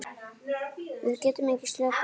Við getum ekki slakað á.